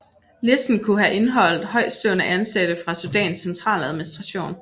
Listen kunne have indeholdt højtstående ansatte fra Sudans centraladministration